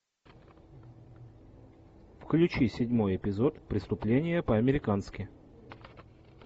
включи седьмой эпизод преступление по американски